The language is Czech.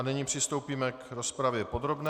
A nyní přistoupíme k rozpravě podrobné.